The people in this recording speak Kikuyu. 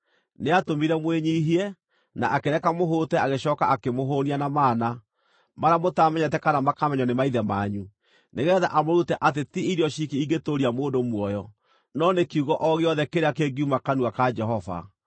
Nĩatũmire mwĩnyiihie, na akĩreka mũhũte agĩcooka akĩmũhũũnia na mana, marĩa mũtaamenyete kana makamenywo nĩ maithe manyu, nĩgeetha amũrute atĩ ti irio ciki ingĩtũũria mũndũ muoyo, no nĩ kiugo o gĩothe kĩrĩa kĩngiuma kanua ka Jehova.